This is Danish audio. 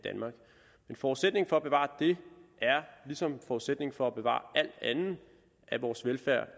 forudsætningen for at bevare det ligesom forudsætningen for at bevare alt andet af vores velfærd